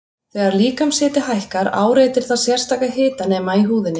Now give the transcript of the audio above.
Þegar líkamshiti hækkar áreitir það sérstaka hitanema í húðinni.